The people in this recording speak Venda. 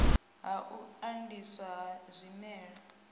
ha u andiswa ho zwimela